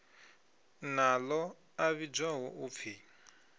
na ḽo a vhidzwaho upfi